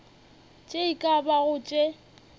tše e ka bago tše